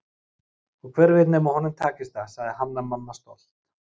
Og hver veit nema honum takist það, sagði Hanna-Mamma stolt.